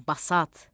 Basat.